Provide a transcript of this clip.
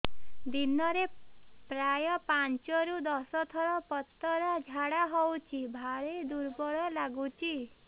ଦିନରେ ପ୍ରାୟ ପାଞ୍ଚରୁ ଦଶ ଥର ପତଳା ଝାଡା ହଉଚି ଭାରି ଦୁର୍ବଳ ଲାଗୁଚି